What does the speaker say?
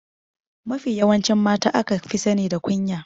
Mafi yawancin mata aka fi sani da kunya.